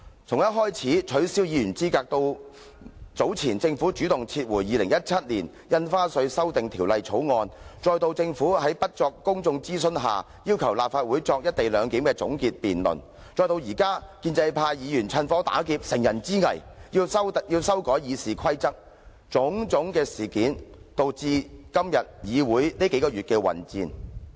從取消議員資格，到早前政府主動撤回《2017年印花稅條例草案》，再到政府在不作公眾諮詢下要求立法會進行"一地兩檢"的總結辯論，再到現在建制派議員趁火打劫、乘人之危，要修改《議事規則》，種種事件均導致議會出現這數個月來的混戰。